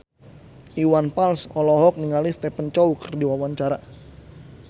Iwan Fals olohok ningali Stephen Chow keur diwawancara